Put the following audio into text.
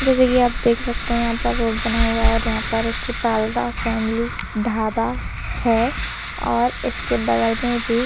जैसे कि आप देख सकते हैं यहां पर रोड बना हुआ है यहां पर एक पाल्दा फैमिली ढाबा है और इसके बगल में भी--